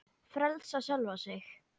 Frelsa sjálfa sig.